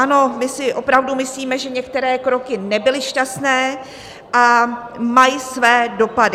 Ano, my si opravdu myslíme, že některé kroky nebyly šťastné a mají své dopady.